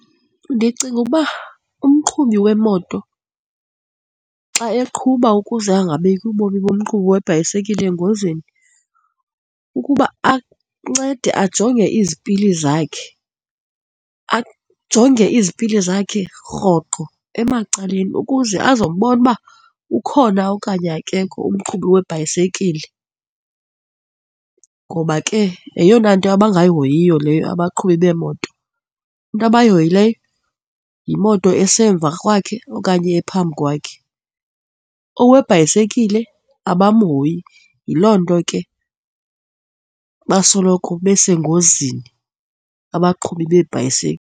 Ndicinga uba umqhubi wemoto xa eqhuba ukuze angabeki ubomi bomqhubi webhayisikile engozini ukuba ancede ajonge izipili zakhe, ajonge izipili zakhe rhoqo emacaleni ukuze azobona uba ukhona okanye akekho umqhubi webhayisikile ngoba ke yeyona nto abangahoyiyo leyo abaqhubi beemoto. Into abayihoyileyo yimoto esisemva kwakhe okanye ephambi kwakhe. Owebhayisikile abamhoyi, yiloo nto ke basoloko besengozini abaqhubi beebhayisekile.